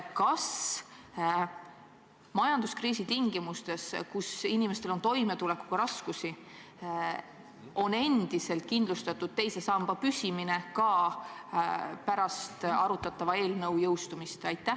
Kas majanduskriisi tingimustes, kus inimestel on toimetulekuga raskusi, on endiselt kindlustatud teise samba püsimine ka pärast arutatava seaduse jõustumist?